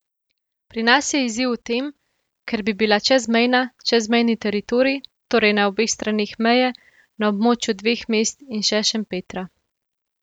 Pri nas je izziv v tem, ker bi bila čezmejna, čezmejni teritorij, torej na obeh straneh meje, na območju dveh mest in še Šempetra.